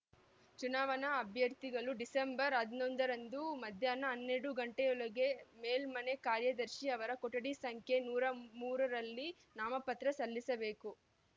ಚುನಾವಣಾ ಅಭ್ಯರ್ಥಿಗಳು ಡಿಸೆಂಬರ್ ಹನ್ನೊಂದರಂದು ಮಧ್ಯಾಹ್ನ ಹನ್ನೆರಡು ಗಂಟೆಯೊಳಗೆ ಮೇಲ್ಮನೆ ಕಾರ್ಯದರ್ಶಿ ಅವರ ಕೊಠಡಿ ಸಂಖ್ಯೆ ನೂರ ಮೂರರಲ್ಲಿ ನಾಮಪತ್ರ ಸಲ್ಲಿಸಬೇಕು